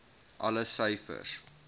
alle syfers